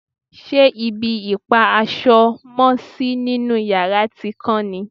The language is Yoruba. ṣe ibi ìpa aṣọ mọ́sí nínú yàrá ti kán ni?